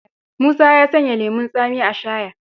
Musa ya sanya lemon tsami a shaya.